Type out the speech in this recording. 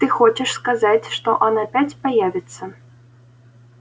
ты хочешь сказать что он опять появится